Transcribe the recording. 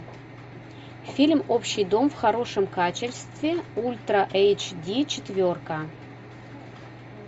фильм общий дом в хорошем качестве ультра эйч ди четверка